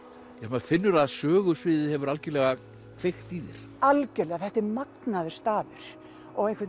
maður finnur að sögusviðið hefur algjörlega kveikt í þér algjörlega þetta er magnaður staður og einhvern